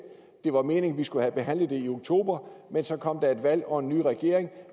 det var meningen at vi skulle have behandlet det i oktober men så kom der et valg og en ny regering